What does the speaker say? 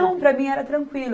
Não, para mim era tranquilo.